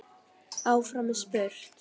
Áfram er spurt.